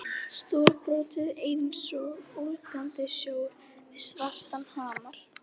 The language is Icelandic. Stórbrotið einsog ólgandi sjór við svartan hamar.